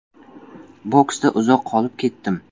Boksda uzoq qolib ketdim.